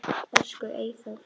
Elsku Eyþór.